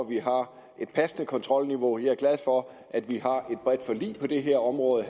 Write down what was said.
vi har et passende kontrolniveau og jeg er glad for at vi på det her område